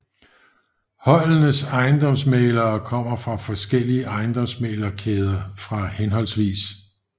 Holdenes ejendomsmæglere kommer fra forskellige ejendomsmæglerkæder fra hhv